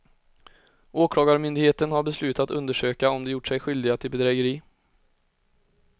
Åklagarmyndigheten har beslutat undersöka om de gjort sig skyldiga till bedrägeri.